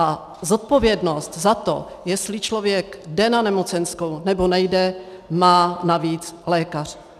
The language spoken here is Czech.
A zodpovědnost za to, jestli člověk jde na nemocenskou, nebo nejde, má navíc lékař.